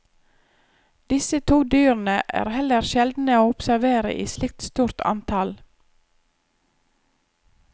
Disse to dyrene er heller sjeldne å observere i slikt stort antall.